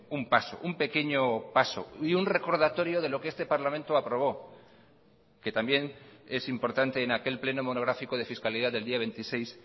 un paso un pequeño paso y un recordatorio de lo que este parlamento aprobó que también es importante en aquel pleno monográfico de fiscalidad del día veintiséis